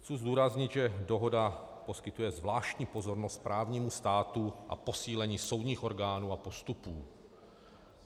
Chci zdůraznit, že dohoda poskytuje zvláštní pozornost právnímu státu a posílení soudních orgánů a postupů.